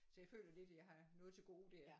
Så jeg føler lidt jeg har noget til gode der